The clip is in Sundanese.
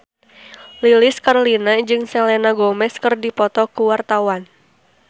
Lilis Karlina jeung Selena Gomez keur dipoto ku wartawan